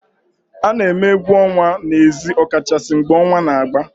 A na-eme egwu ọnwa n'ezi ọ kachasị mgbe ọnwa na-agba